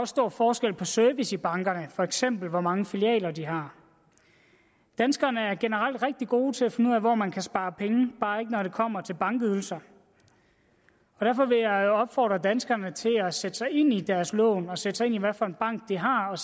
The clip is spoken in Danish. stor forskel på service i bankerne for eksempel hvor mange filialer de har danskerne er generelt rigtig gode til at finde ud af hvor man kan spare penge bare ikke når det kommer til bankydelser derfor vil jeg opfordre danskerne til at sætte sig ind i deres lån og at sætte sig ind i hvad for en bank de har og